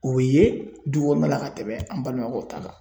U bɛ ye du kɔnɔna la ka tɛmɛn an balimakɛw ta kan.